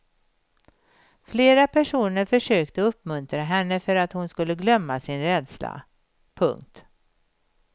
Flera personer försökte uppmuntra henne för att hon skulle glömma sin rädsla. punkt